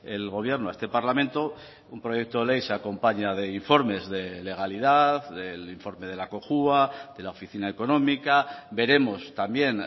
el gobierno a este parlamento un proyecto de ley se acompaña de informes de legalidad del informe de la cojua de la oficina económica veremos también